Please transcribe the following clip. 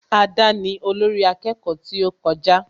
Ada ni olórí akẹ́kọ̀ọ́ tí ó kọjá